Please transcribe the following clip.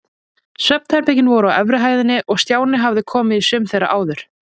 Svefnherbergin voru á efri hæðinni og Stjáni hafði komið í sum þeirra áður.